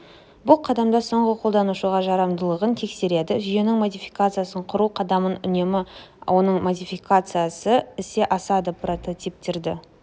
бұл қадамда соңғы қолданушыға жарамдылығын тексереді жүйенің модификациясы құру қадамында үнемі оның модификациясы ісе асады прототиптерді